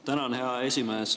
Tänan, hea esimees!